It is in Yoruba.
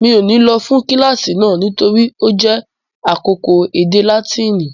Mi ò ní lọ fún kíláàsì náà nítorí ó jẹ́ àkókò èdè Láátínì